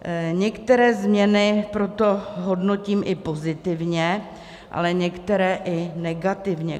Některé změny proto hodnotím i pozitivně, ale některé i negativně.